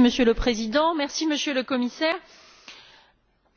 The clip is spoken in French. Monsieur le Président, Monsieur le Commissaire,